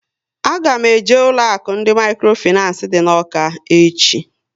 A ga m eje ụlọ akụ ndị mikrofinancé dị n'Awka echi